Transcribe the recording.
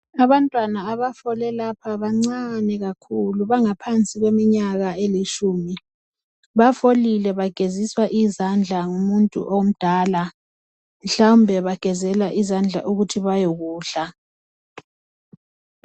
Abantwana abafole lapha bancane kakhulu .Bangaphansi kweminyaka elitshumi .Bafolile bageziswa izandla ngumuntu omdala . Mhlawumbe bagezela izandla ukuthi bayekudla .